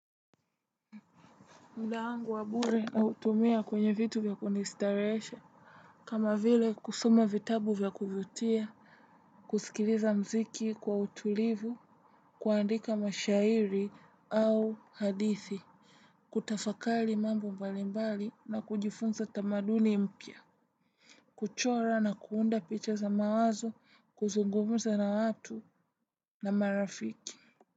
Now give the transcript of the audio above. Muda wangu wa bure nautumia kwenye vitu vya kunistarehesha. Kama vile kusoma vitabu vya kuvutia kusikiliza mziki kwa utulivu. Kuandika mashairi au hadithi. Kutafakari mambo mbalimbali na kujifunza tamaduni mpya. Kuchora na kuunda picha za mawazo kuzungumza na watu na marafiki Muzika.